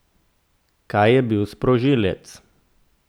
Kaj je bil sprožilec?